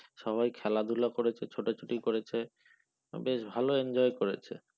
সবাই খেলাধুলা করেছে ছোটাছুটি করেছে বেশ ভালো enjoy করেছে।